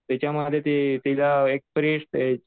तिच्यामध्ये तिला एक परी असते